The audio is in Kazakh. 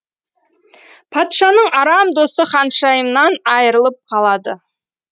патшаның арам досы ханшайымнан айырлып қалады